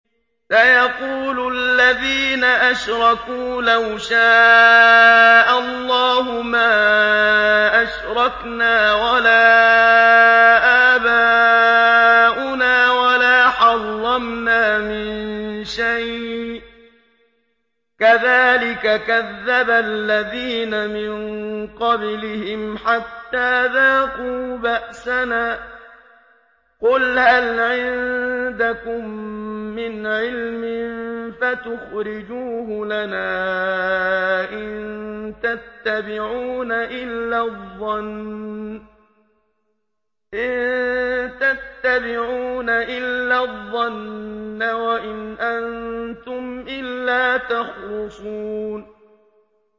سَيَقُولُ الَّذِينَ أَشْرَكُوا لَوْ شَاءَ اللَّهُ مَا أَشْرَكْنَا وَلَا آبَاؤُنَا وَلَا حَرَّمْنَا مِن شَيْءٍ ۚ كَذَٰلِكَ كَذَّبَ الَّذِينَ مِن قَبْلِهِمْ حَتَّىٰ ذَاقُوا بَأْسَنَا ۗ قُلْ هَلْ عِندَكُم مِّنْ عِلْمٍ فَتُخْرِجُوهُ لَنَا ۖ إِن تَتَّبِعُونَ إِلَّا الظَّنَّ وَإِنْ أَنتُمْ إِلَّا تَخْرُصُونَ